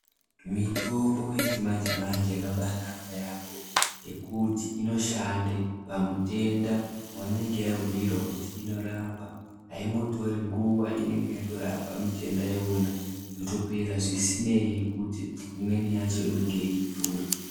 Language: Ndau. Mitombo yechimanjanje yakabanaka yambo nekuti inoshanda pamutenda wainenge wabhuirwa kuti inorapa aimborori nguva inenge yatorapa mutenda iwona wotopera zvisinei kuti imweni yacho inenge yeidhura.